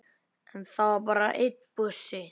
Það var bara einn busi!